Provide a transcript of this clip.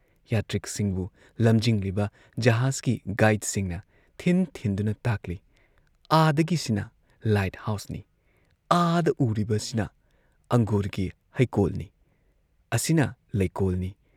ꯌꯥꯇ꯭ꯔꯤꯛꯁꯤꯡꯕꯨ ꯂꯝꯖꯤꯡꯂꯤꯕ ꯖꯍꯥꯖꯀꯤ ꯒꯥꯏꯗꯁꯤꯡꯅ ꯊꯤꯟ ꯊꯤꯟꯗꯨꯅ ꯇꯥꯛꯂꯤ ꯑꯥꯗꯒꯤꯁꯤꯅ ꯂꯥꯏꯠ ꯍꯥꯎꯁꯅꯤ, ꯑꯥꯗ ꯎꯔꯤꯕꯁꯤꯅ ꯑꯪꯒꯨꯔꯒꯤ ꯍꯩꯀꯣꯜꯅꯤ, ꯑꯁꯤꯅ ꯂꯩꯀꯣꯜꯅꯤ ꯫